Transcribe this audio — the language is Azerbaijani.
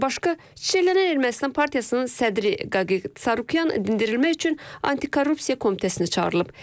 Bundan başqa, Çiçəklənən Ermənistan Partiyasının sədri Qaqiq Sarkisyan dindirmək üçün antikorrusiya komitəsinə çağırılıb.